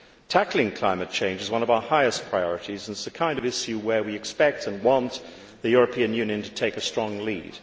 Tackling climate change is one of our highest priorities and is the kind of issue where we expect and want the European Union to take a strong lead.